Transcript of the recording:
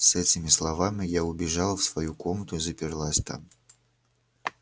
с этими словами я убежала в свою комнату и заперлась там